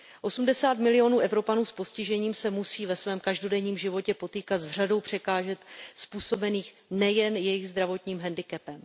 Osmdesát milionů Evropanů s postižením se musí ve svém každodenním životě potýkat s řadou překážek způsobených nejen jejich zdravotním handicapem.